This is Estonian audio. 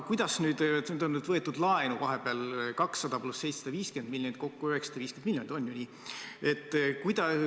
Nüüd on võetud laenu vahepeal 200 + 750 miljonit, kokku 950 miljonit.